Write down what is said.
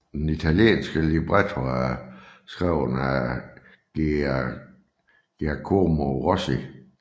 Den italienske libretto er skrevet af Giacomo Rossi